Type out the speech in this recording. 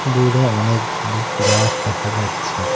দূরে অনেকগুলি গাছ দেখা যাচ্ছে।